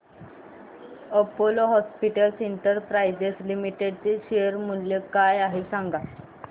Apollo hospitals enterprise limited चे share मूल्य काय आहे सांगा